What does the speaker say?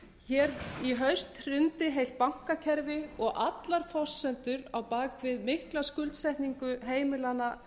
hér í haust hrundi heilt bankakerfi og allar forsendur á bak við mikla skuldsetningu heimilanna